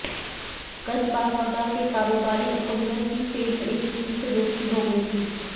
गंजबासौदा के कारोबारी अंकुदर की ट्रेन में एक युवती से दोस्ती हो गई थी